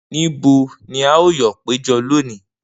Nibo ni a yoo pejọ loni?